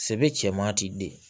Sebe cɛman ti den